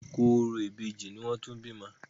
Àsìkò orò ìbejì ni wọ́n tún bímọ.